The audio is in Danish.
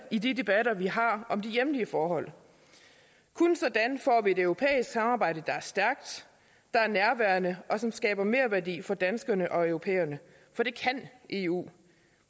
i de debatter vi har om de hjemlige forhold kun sådan får vi et europæisk samarbejde der er stærkt og nærværende og som skaber merværdi for danskerne og europæerne for det kan eu